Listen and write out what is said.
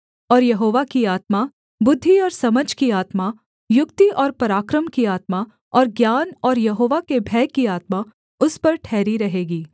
और यहोवा की आत्मा बुद्धि और समझ की आत्मा युक्ति और पराक्रम की आत्मा और ज्ञान और यहोवा के भय की आत्मा उस पर ठहरी रहेगी